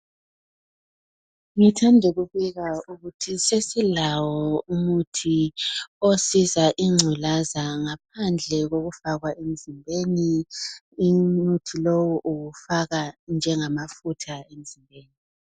Ngithanda ukubika ukuthi sesilawo umuthi osiza ingculaza ngaphandle kokufakwa emzimbeni. Umuthi lowu uwufaka njengamafutha emzimbeni.